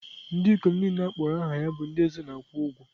Ndị ikom niile a kpọrọ aha bụ ndị eze na-akwụ ụgwọ.